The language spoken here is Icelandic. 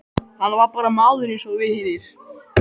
Hann var bara maður eins og við hinir.